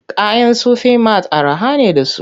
Kayan Sufi mat araha ne da su.